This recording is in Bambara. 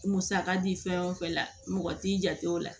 Musaka di fɛn o fɛn la mɔgɔ t'i jate o la